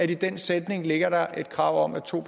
i den sætning ligger et krav om at to